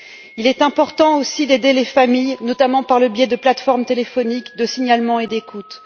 Il est important aussi d'aider les familles, notamment par le biais de plateformes téléphoniques de signalement et d'écoute.